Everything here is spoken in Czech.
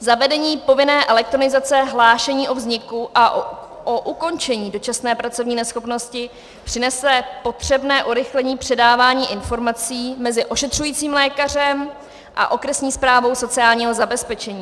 Zavedení povinné elektronizace hlášení o vzniku a o ukončení dočasné pracovní neschopnosti přinese potřebné urychlení předávání informací mezi ošetřujícím lékařem a okresní správou sociálního zabezpečení.